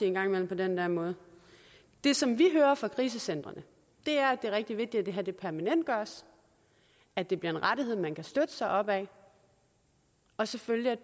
en gang imellem på den der måde det som vi hører fra krisecentrene er at det er rigtig vigtigt at det her permanentgøres at det bliver en rettighed man kan støtte sig op ad og selvfølgelig at